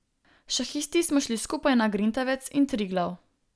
Šahisti smo šli skupaj tudi na Grintavec in Triglav.